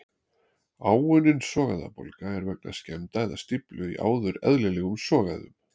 Áunnin sogæðabólga er vegna skemmda eða stíflu í áður eðlilegum sogæðum.